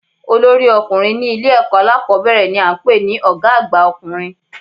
Olórí ọkùnrin ní Ilé èkó alákòbéèrè ni a n pè ní Ògá àgbà ọkùnrin